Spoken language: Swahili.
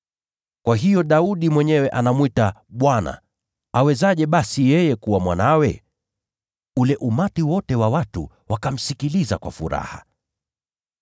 Kwa hiyo Daudi mwenyewe anamwita ‘Bwana.’ Awezaje basi yeye kuwa mwanawe?” Ule umati wote wa watu wakamsikiliza kwa furaha.